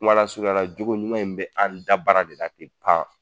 Kumalasurunyala jogo ɲuman in bɛ an dabara de la te pan